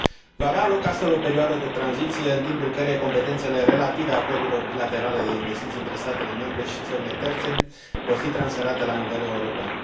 Va avea loc astfel o perioadă de tranziție în timpul căreia competențele relative acordurilor bilaterale de investiții între statele membre și țările terțe vor fi transferate la nivel european.